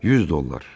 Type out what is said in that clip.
100 dollar.